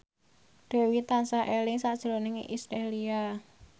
Dewi tansah eling sakjroning Iis Dahlia